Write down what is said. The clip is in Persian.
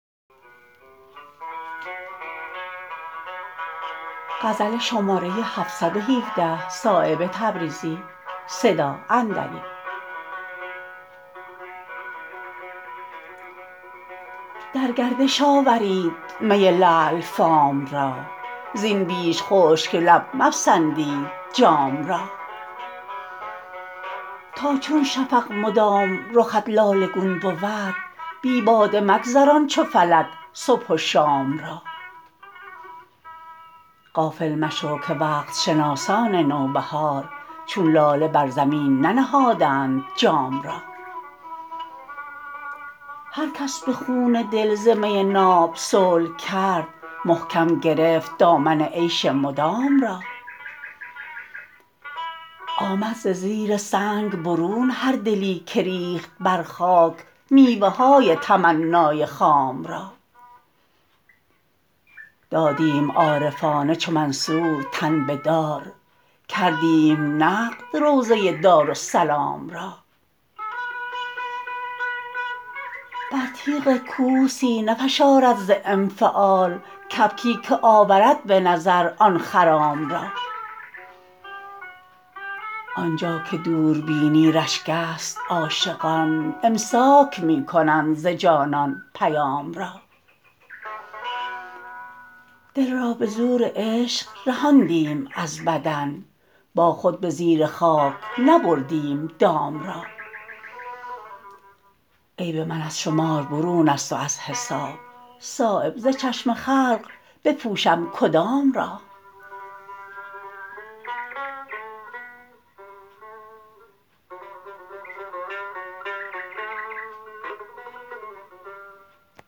در گردش آورید می لعل فام را زین بیش خشک لب مپسندید جام را تاچون شفق مدام رخت لاله گون بود بی باده مگذران چو فلک صبح و شام را غافل مشو که وقت شناسان نوبهار چون لاله بر زمین ننهادند جام را هر کس به خون دل ز می ناب صلح کرد محکم گرفت دامن عیش مدام را آمد ز زیر سنگ برون هر دلی که ریخت بر خاک میوه های تمنای خام را دادیم عارفانه چو منصور تن به دار کردیم نقد روضه دارالسلام را بر تیغ کوه سینه فشارد ز انفعال کبکی که آورد به نظر آن خرام را آنجا که دوربینی رشک است عاشقان امساک می کنند ز جانان پیام را دل را به زور عشق رهاندیم از بدن با خود به زیر خاک نبردیم دام را عیب من از شمار برون است و از حساب صایب ز چشم خلق بپوشم کدام را